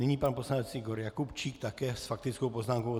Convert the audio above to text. Nyní pan poslanec Igor Jakubčík také s faktickou poznámkou.